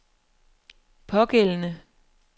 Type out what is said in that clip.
pågældende